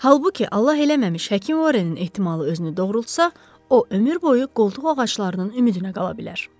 Halbuki Allah eləməmiş həkim Vorrenin ehtimalı özünü doğrultsa, o ömür boyu qoltuq ağaclarının ümidinə qala bilər.